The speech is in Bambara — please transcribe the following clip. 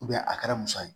a kɛra musa ye